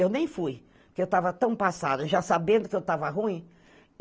Eu nem fui, porque eu estava tão passada, já sabendo que eu estava ruim.